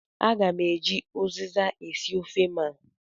Aga m eji uziza esi ofe m a.